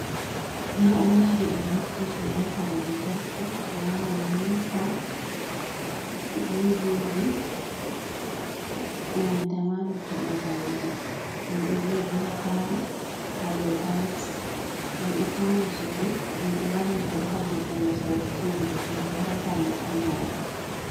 Na'uraji ɗum naftirte be kare lantarki ko larani wufa, dividi e nanta ma luttuɗum kareji. Ɗum ɗo jodi ha palo ha do tayls ɗum ɗo fauna sudu ɗum ɗo vallita bo ha vurtungo sautu tivi to hautama kunnama